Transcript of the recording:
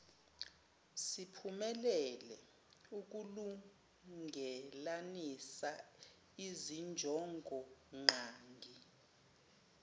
siphumelela ukulungelanisa izinjongongqangi